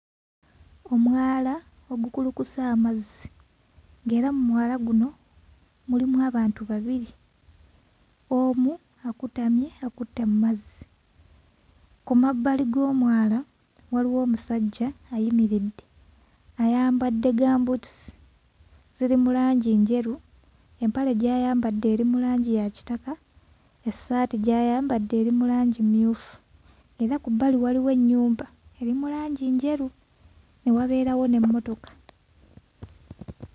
Omwala ogukulukusa amazzi ng'era mu mwala guno mulimu abantu babiri, omu akutamye akutte mu mazzi. Ku mabbali g'omwala waliwo omusajja ayimiridde, ayambadde gambuutusi, ziri mu langi njeru, empale gy'ayambadde eri mu langi ya kitaka, essaati gy'ayambadde eri mu langi mmyufu era ku bbali waliwo ennyumba eri mu langi njeru, ne wabeerawo n'emmotoka.